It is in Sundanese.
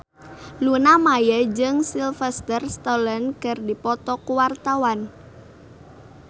Luna Maya jeung Sylvester Stallone keur dipoto ku wartawan